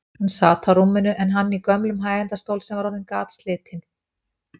Hún sat á rúminu en hann í gömlum hægindastól sem var orðinn gatslitinn.